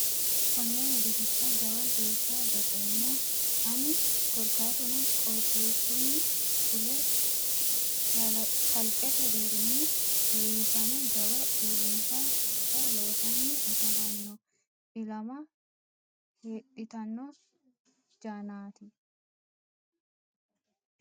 Kone wedellicha jawa geeshsha baxeemmo ani korkaatuno qooxeesunni fule kalqete deerrini heewisame jawa uurrinsha hunda loosani afamano ilama hexxittano jannati.